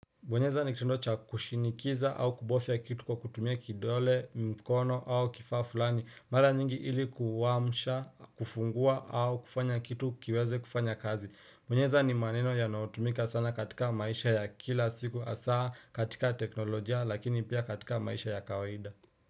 Kubonyeza ni kitendo cha kushinikiza au kubofya kitu kwa kutumia kidole, mkono au kifaa fulani. Mara nyingi ili kuwaamsha, kufungua au kufanya kitu kiweze kufanya kazi. Kubonyeza ni maneno yanao tumika sana katika maisha ya kila siku asaa katika teknolojia lakini pia katika maisha ya kawaida.